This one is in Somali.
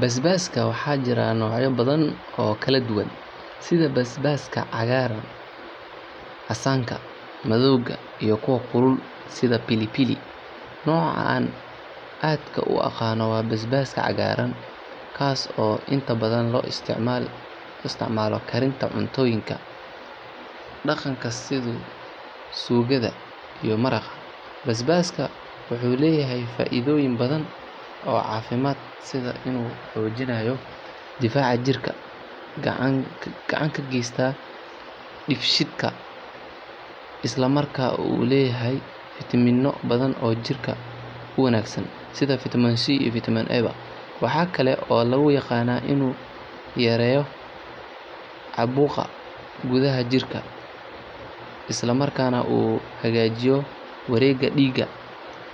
Basbaska waxajiran nocya bathan oo kaladuwan setha basbaska cagaran casanka madawga iyo kuwa kulul setha pilipli noca aa adka u aqanah wa basbaska ka cagaran kaso intabathan lo isticmalah karinta cuntoyinka daqanka setha sugatho iyoh maraqa basbaska waxuleeyahay faithoyin bathan oo cafimad setha inu xoojinayoh kudaha jirka waxu kacan kageystah dibsheetka Isla marka oo leeyahay vitaaminoo batha oo jirka u wanagsan Setha vitaminc waxakali oo lagu yaqanah inu yareyoh cabuuqa kudaha jirka islamarkana oo hakajiyoh wareega dheega